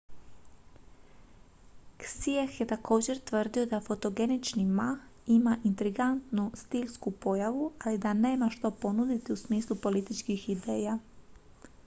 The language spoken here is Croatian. hsieh je također tvrdio da fotogenični ma ima intrigantnu stilsku pojavu ali da nema što ponuditi u smislu političkih ideja